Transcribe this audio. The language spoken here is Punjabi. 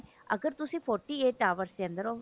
ਅਗਰ ਤੁਸੀਂ forty eight hours ਦੇ ਅੰਦਰ ਉਹ